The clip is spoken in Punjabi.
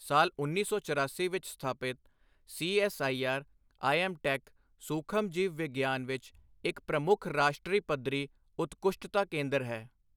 ਸਾਲ ਉੱਨੀ ਸੌ ਚਰਾਸੀ ਵਿੱਚ ਸਥਾਪਿਤ ਸੀਐੱਸਆਈਆਰ ਆਈਐੱਮਟੈੱਕ ਸੂਖਮਜੀਵ ਵਿਗਿਆਨ ਵਿੱਚ ਇੱਕ ਪ੍ਰਮੁੱਖ ਰਾਸ਼ਟਰੀ ਪੱਧਰੀ ਉਤਕੁਸ਼ਟਤਾ ਕੇਂਦਰ ਹੈ।